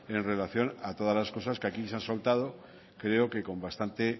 en relación a toda las cosas que aquí se han soltado creo que con bastante